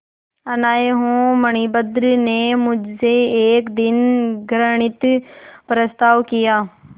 अनाथ हूँ मणिभद्र ने मुझसे एक दिन घृणित प्रस्ताव किया